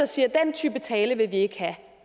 siger at den type tale vil vi ikke